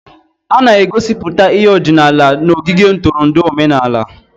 A na-egosiputa ihe ọdịnala n'ogige ntụrụndụ omenala.